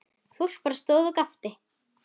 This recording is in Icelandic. Fólk bara stóð og gapti.